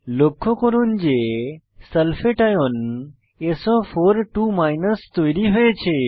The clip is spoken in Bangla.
লক্ষ্য করুন যে সালফেট আয়ন সো42 তৈরী হয়েছে